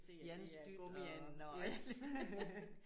Jans dyt og yes